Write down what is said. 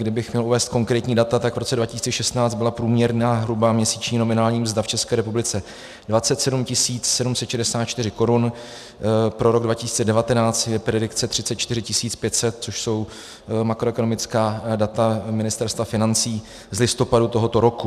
Kdybych měl uvést konkrétní data, tak v roce 2016 byla průměrná hrubá měsíční nominální mzda v České republice 27 764 korun, pro rok 2019 je predikce 34 500, což jsou makroekonomická data Ministerstva financí z listopadu tohoto roku.